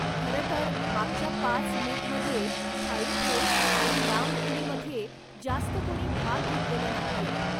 खरं तर, मागच्या पाच मीटमध्ये थाळी फेक आणि लांब उडीमध्ये जास्त कोणी भाग घेतलेला नाहीये.